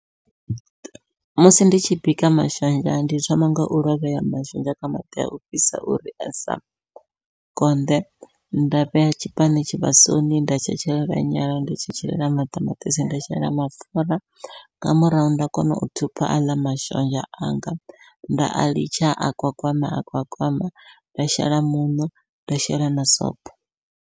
Musi ndi tshi bika mashonzha, ndi thoma ngau lovhea mashonzha kha maḓi au fhisa uri a sa konḓe, nda vhea tshiphani tshivhasoni nda tshetshelela nyala, nda tshetshelela maṱamaṱisi, nda shela mapfhura, nga murahu nda kona u thupha aḽa mashonzha anga nda a litsha a gwagwama a gwagwama nda shela muṋo nda shela na sobo.